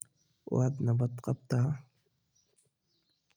Waad nabad qabtaa